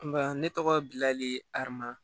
Nka ne tɔgɔ bilali ama